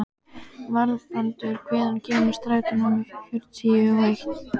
Valbrandur, hvenær kemur strætó númer fjörutíu og eitt?